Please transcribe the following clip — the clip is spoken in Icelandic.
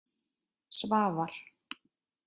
Svavar